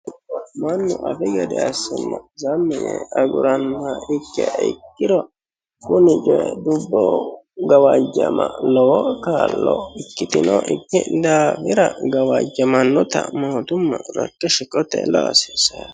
mannu afi gede assenna sammi yee agurannoha ikkiha ikkiro kuni coyi lubbo gawajjama lowo kaa'lo ikkitinokki daafira kawajjamannota mootumma rakke shiqotenni la'a hasiissanno.